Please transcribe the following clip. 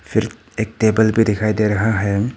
फिर एक टेबल भी दिखाई दे रहा है।